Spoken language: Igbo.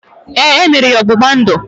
Ee, emere ya ọgbụgba ndụ